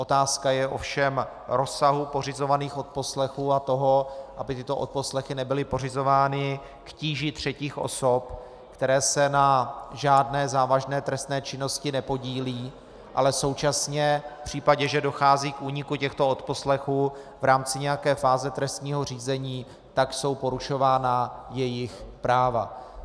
Otázka je ovšem rozsahu pořizovaných odposlechů a toho, aby tyto odposlechy nebyly pořizovány k tíži třetích osob, které se na žádné závažné trestné činnosti nepodílejí, ale současně v případě, že dochází k úniku těchto odposlechů v rámci nějaké fáze trestního řízení, tak jsou porušována jejich práva.